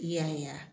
Yaya